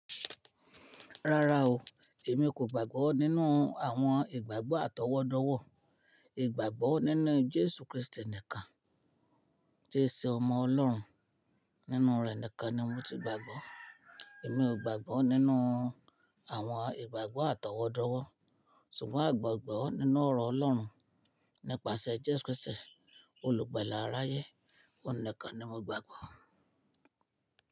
Rárá o, èmi kò gbàgbọ́ nínú àwọn ìgbàgbọ́ àtọwọ́dọ́wọ́. Ìgbàgbọ́ nínú Jésù Krístì nìkan, tí ṣe ọmọ Ọlọ́run nínú rẹ̀ nìkan ni mo ti gbàgbọ́. Èmi ò gbàgbọ́ nínú àwọn ìgbàgbọ́ àtọwọ́dọ́wọ́, ṣùgbọ́n ìgbàgbọ́ nínú ọ̀rọ̀ Ọlọ́run nípasẹ̀ Jésù Krístì, olùgbàlà aráyé, ó nìkan ni mo gbàgbọ́.